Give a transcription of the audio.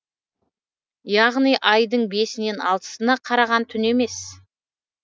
яғни айдың бесінен алтысына қараған түн емес